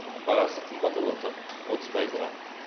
бағасы қымбат боп отыр отыз пайызға